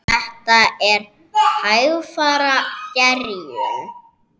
Þetta er hægfara gerjun.